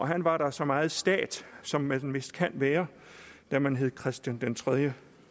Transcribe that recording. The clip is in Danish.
han var da så meget stat som man vist kunne være når man hed christian den tredje